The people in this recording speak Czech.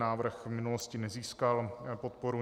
Návrh v minulosti nezískal podporu.